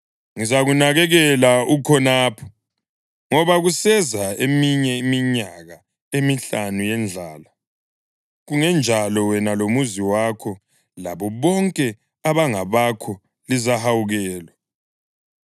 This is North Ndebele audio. Ngizakunakekela ukhonapho ngoba kuseza eminye iminyaka emihlanu yendlala. Kungenjalo wena lomuzi wakho, labo bonke abangabakho lizahawukelwa.’